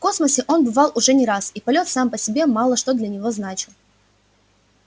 в космосе он бывал уже не раз и полёт сам по себе мало что для него значил